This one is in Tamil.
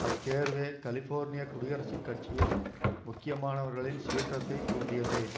அத்தேர்வே கலிபோர்னிய குடியரசுக் கட்சியில் முக்கியமானவர்களின் சீற்றத்தை தூண்டியது